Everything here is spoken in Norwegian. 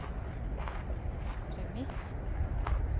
premiss